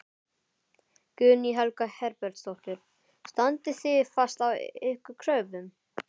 Guðný Helga Herbertsdóttir: Standið þið fast á ykkar kröfum?